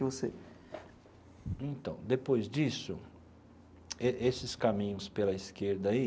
Então, depois disso, esses caminhos pela esquerda aí,